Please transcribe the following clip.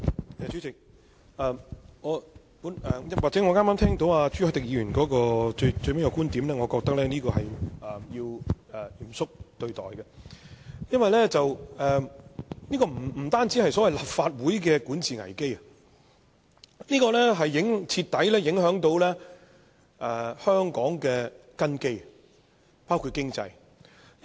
代理主席，朱凱廸議員發言最後提到一個觀點，我認為需要嚴肅對待，因為這不單關乎立法會的管治危機，更會徹底影響香港的根基，包括經濟方面。